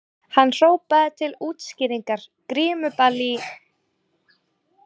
Hann hrópaði til útskýringar: Grímuball í